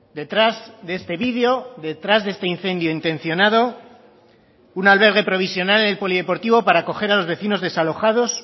detrás de este video detrás de este incendio intencionado un albergue provisional en el polideportivo para acoger a los vecinos desalojados